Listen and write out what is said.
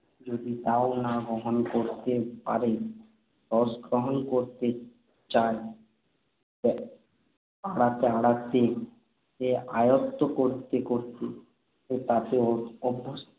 যদি তা না-ও গ্রহণ করতে পারে, রসগ্রহণ করতে চান আওড়াতে আওড়াতে, আয়ত্ত করতে করতে, তাতে অভ্য~ অভ্যস্ত